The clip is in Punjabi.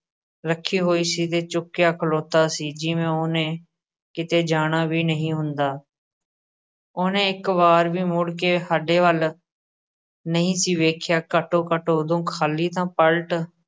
ਰੱਖੀ ਹੋਈ ਸੀ ਤੇ ਝੁਕਿਆ ਖਲੋਤਾ ਸੀ ਜਿਵੇਂ ਉਹਨੇ ਕਿਤੇ ਜਾਣਾ ਵੀ ਨਹੀਂ ਹੁੰਦਾ ਉਹਨੇ ਇੱਕ ਵਾਰ ਵੀ ਮੁੜ ਕੇ ਸਾਡੇ ਵੱਲ ਨਹੀਂ ਸੀ ਵੇਖਿਆ, ਘੱਟੋ-ਘੱਟ ਉਦੋਂ ਖ਼ਾਲੀ ਤਾਂ ਪਲਟ